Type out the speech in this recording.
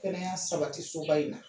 Kɛnɛya sabati soba in na.